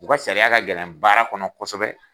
U ka sariya ka gɛlɛn baara kɔnɔ kosɛbɛ.